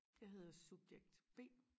Jeg hedder subjekt B